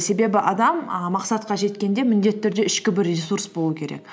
себебі адам і мақсатқа жеткенде міндетті түрде ішкі бір ресурс болу керек